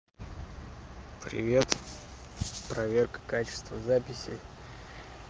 привет проверка качества записи